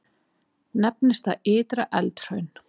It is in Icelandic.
Nefnist það Ytra-Eldhraun.